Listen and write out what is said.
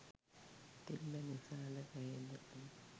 තිබ්බ නිසාද කොහෙද